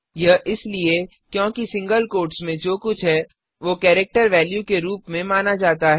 यह इसलिए क्योंकि सिंगल कोट्स में जो कुछ है वो केरिक्टर वेल्यू के रूप में माना जाता है